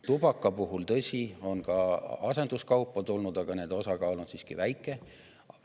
Tubaka puhul, tõsi, on ka asenduskaupa tulnud, aga selle osakaal on siiski väike.